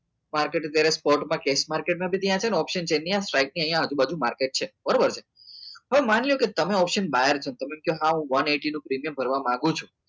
market અત્યારે કોર્ટમાં નહીં એ છે ને option છે ને અહીંયા સ્ટ્રાઈકની અહીંયા આજુબાજુ માર્કેટ છે બરોબર છે હવે માની લો કે તમે માર્ક option કરવા માગું છું